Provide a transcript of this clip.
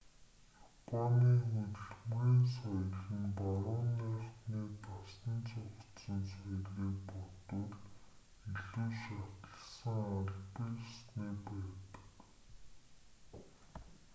японы хөдөлмөрийн соёл нь барууныхны дасан зохицсон соёлыг бодвол илүү шаталсан албан ёсны байдаг